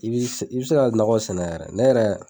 I bi i bi se ka nakɔ sɛnɛ yɛrɛ ne yɛrɛ